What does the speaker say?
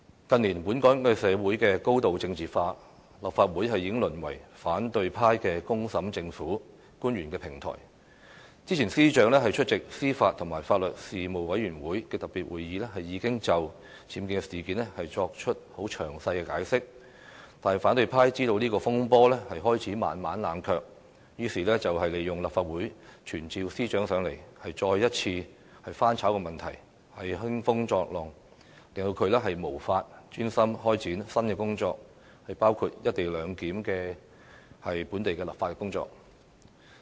近年，本港社會高度政治化，立法會已淪為反對派"公審"政府、官員的平台，早前司長出席司法及法律事務委員會特別會議，已就僭建事件作出詳細解釋，但反對派知道這個風波開始慢慢冷卻，於是利用立法會傳召司長，再次翻炒問題，興風作浪，令她無法專心開展新的工作，包括"一地兩檢"的本地立法工作。